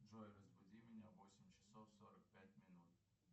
джой разбуди меня в восемь часов сорок пять минут